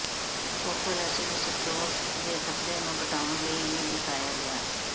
focal acid stroke ਦੇ ਖ਼ਤਰੇ ਨੂੰ ਘਟਾਉਣ ਲਈ ਵੀ ਦਿਖਾਇਆ ਗਿਆ